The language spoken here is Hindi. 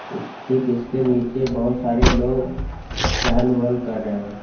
इस ठीक इसके नीचे बहुत सारे लोग चहल वहल कर रहे हैं।